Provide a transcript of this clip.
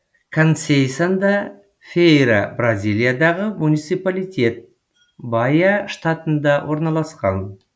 консейсан да фейра бразилиядағы муниципалитет баия штатында орналасқан